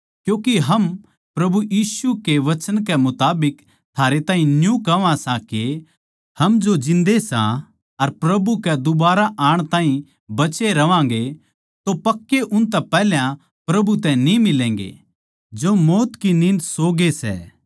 क्यूँके हम प्रभु यीशु कै वचन कै मुताबिक थारै तै न्यू कह्वां सां के हम जो जिन्दे सां अर प्रभु कै दुबारा आण ताहीं बचे रहवांगें तो पक्के उनतै पैहले प्रभु तै न्ही मिलैगे जो मौत की नींद सो ग्ये सै